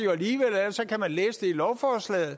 i lovforslaget